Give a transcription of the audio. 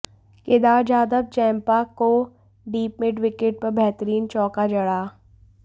Kedar Jadhav Zampa को deep mid wicket पर बेहतरीन चौका जड़ा